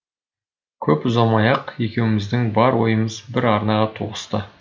көп ұзамай ақ екеуіміздің бар ойымыз бір арнаға тоғысты